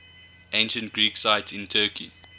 ancient greek sites in turkey